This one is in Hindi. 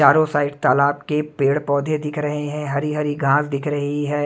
चारों साइड तालाब के पेड़ पौधे दिख रहे हैं हरी हरी घास दिख रही है।